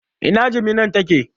Ina jiminan take?